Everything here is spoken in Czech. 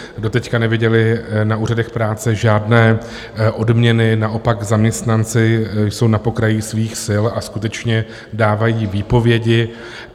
Doteď neviděli na úřadech práce žádné odměny, naopak, zaměstnanci jsou na pokraji svých sil a skutečně dávají výpovědi.